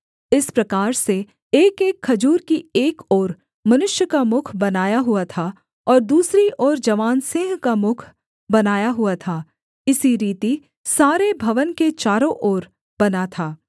इस प्रकार से एकएक खजूर की एक ओर मनुष्य का मुख बनाया हुआ था और दूसरी ओर जवान सिंह का मुख बनाया हुआ था इसी रीति सारे भवन के चारों ओर बना था